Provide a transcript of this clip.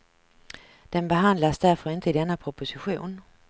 Den behandlas därför inte i denna proposition.